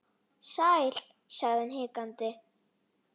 Sæl.- sagði hann hikandi